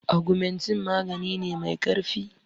Augmentin magani ne mai ƙarfi.